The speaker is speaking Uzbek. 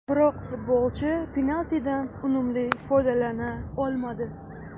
Biroq futbolchi penaltidan unumli foydalana olmadi.